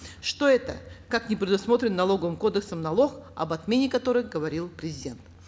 что это как непредусмотренный налоговым кодексом налог об отмене которых говорил президент